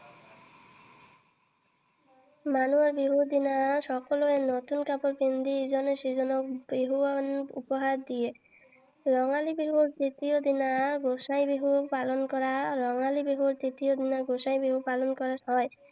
মানুহৰ বিহুৰ দিনা সকলোৱে নতুন কাপোৰ পিন্ধি ইজনে সিজনক বিহুৱান উপহাৰ দিয়ে। ৰঙালী বিহুৰ দ্বিতীয় দিনা গোসাই বিহু পালন কৰা ৰঙালী বিহুৰ দ্বিতীয় দিনা গোসাই বিহু পালন কৰা হয়।